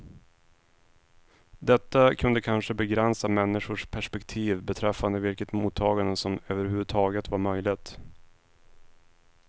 Detta kunde kanske begränsa människors perspektiv beträffande vilket mottagande som överhuvudtaget var möjligt.